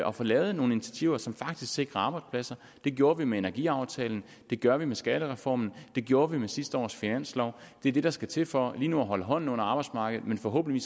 at få lavet nogle initiativer som faktisk sikrer arbejdspladser det gjorde vi med energiaftalen det gør vi med skattereformen det gjorde vi med sidste års finanslov det er det der skal til for lige nu at holde hånden under arbejdsmarkedet forhåbentlig